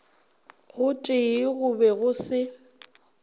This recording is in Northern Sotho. gotee go be go se